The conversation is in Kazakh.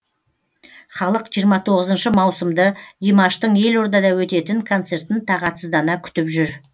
халық жиырма тоғызыншы маусымды димаштың елордада өтетін концертін тағатсыздана күтіп жүр